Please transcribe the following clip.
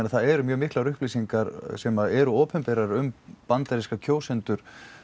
það eru miklar upplýsingar sem eru opinberar um bandaríska kjósendur